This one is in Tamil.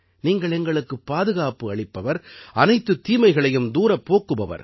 நீங்கள் எங்களுக்குப் பாதுகாப்பு அளிப்பவர் அனைத்துத் தீமைகளையும் தூரப் போக்குபவர்